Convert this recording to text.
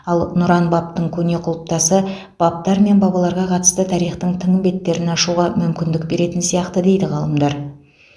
ал нұран бабтың көне құлыптасы бабтар мен бабаларға қатысты тарихтың тың беттерін ашуға мүмкіндік беретін сияқты дейді ғалымдар